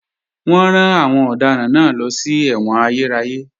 Wọ́n rán àwọn ọ̀daràn náà lọ sí ẹ̀wọ̀n ayérayé